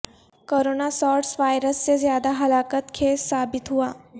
corona SARS virus سے زیادہ ہلاکت خیز ثابت ہوا